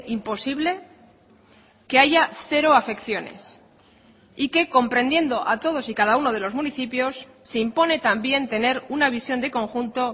imposible que haya cero afecciones y que comprendiendo a todos y cada uno de los municipios se impone también tener una visión de conjunto